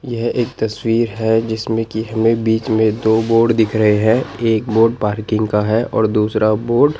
यह एक तस्वीर है जिसमें कि हमें बीच में दो बोर्ड दिख रहे हैं एक बोर्ड पार्किंग का है और दूसरा बोर्ड --